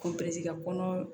Ko bɛɛ ti ka kɔnɔ